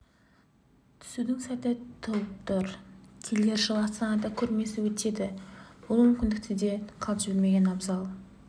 түсудің сәті туып тұр келер жылы астанада көрмесі өтеді бұл мүмкіндікті де қалт жібермеген абзал